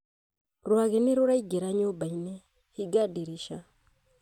Rwagi nĩ rũraingĩra nyũmba-inĩ, hinga ndirica